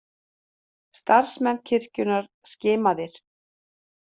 Starfsmenn kirkjunnar skimaðir